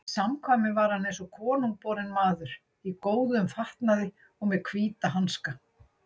Í samkvæmum var hann eins og konungborinn maður, í góðum fatnaði og með hvíta hanska.